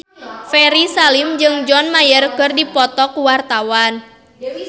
Ferry Salim jeung John Mayer keur dipoto ku wartawan